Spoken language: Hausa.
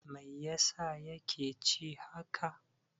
Mai yasa ya ke ci haka?